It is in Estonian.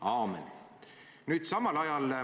Aamen.